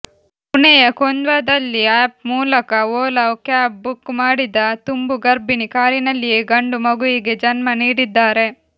ಪುಣೆಯ ಕೊಂಧ್ವಾದಲ್ಲಿ ಆಪ್ ಮೂಲಕ ಓಲಾ ಕ್ಯಾಬ್ ಬುಕ್ ಮಾಡಿದ ತುಂಬು ಗರ್ಭಿಣಿ ಕಾರಿನಲ್ಲಿಯೇ ಗಂಡು ಮಗುವಿಗೆ ಜನ್ಮ ನೀಡಿದ್ದಾರೆ